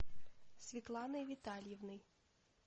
светланой витальевной